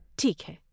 ٹھیک ہے۔